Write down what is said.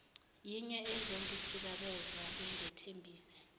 yinye ezongithikameza bengethembise